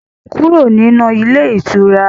Kúrò nínú ilé ìtura!